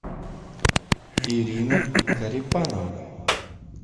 ирина карипанова